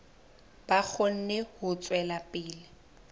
ba kgone ho tswela pele